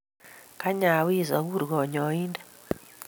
Kany awis akur kanyointe.